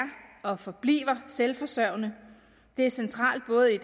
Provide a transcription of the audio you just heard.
og forbliver selvforsørgende det er centralt både i